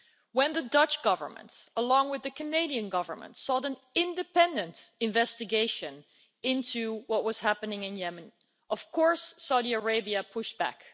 When the Dutch Government, along with the Canadian Government, sought an independent investigation into what was happening in Yemen, Saudi Arabia pushed back.